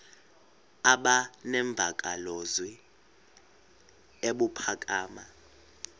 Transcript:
aba nemvakalozwi ebuphakama